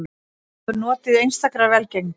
Hann hefur notið einstakrar velgengni